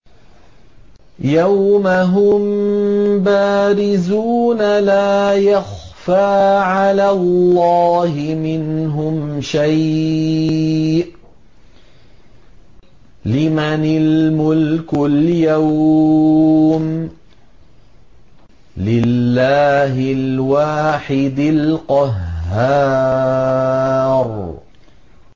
يَوْمَ هُم بَارِزُونَ ۖ لَا يَخْفَىٰ عَلَى اللَّهِ مِنْهُمْ شَيْءٌ ۚ لِّمَنِ الْمُلْكُ الْيَوْمَ ۖ لِلَّهِ الْوَاحِدِ الْقَهَّارِ